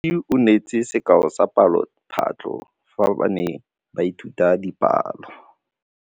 Moithuti o neetse sekaô sa palophatlo fa ba ne ba ithuta dipalo.